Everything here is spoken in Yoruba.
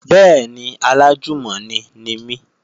Bẹ́ẹ̀ni, alájùmọ̀ni ni mí